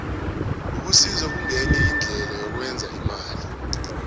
ukusisa kungenye yeendlela yokwenza imali